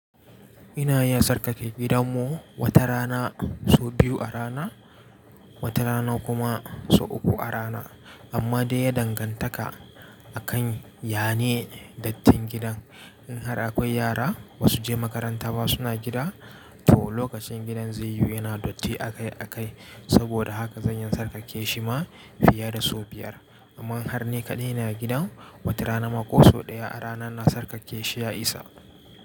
Ina iya sarƙaƙe gidanmu wata rana so biyu a rana, wata rana kuma so uku a rana. Amma dai ya dangantaka akan, yana dattin gidan. In har akwai yara ba su je makaranta ba suna gida, to lokacin gidan zai yiwu yana datti akai akai. Saboda haka zan iya sarƙaƙe shi ma fiye da so biyar. Amma har ne kaɗai na gidan, wata rana ma ko so ɗaya a rana na sarƙaƙe shi ya isa.